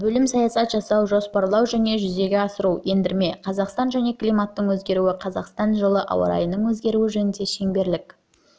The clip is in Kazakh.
бөлім саясат жасау жоспарлау және жүзеге асыру ендірме қазақстан және климаттың өзгеруі қазақстан жылы ауа райының өзгеруі жөніндегі шеңберлік